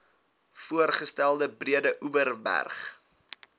voorgestelde breedeoverberg oba